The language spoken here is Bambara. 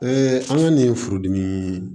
an ka nin furudimi